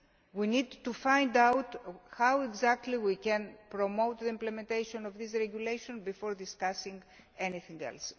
We need to find out how exactly we can promote the implementation of this regulation before discussing anything else.